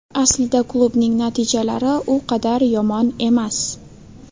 Aslida klubning natijalari u qadar yomon emas.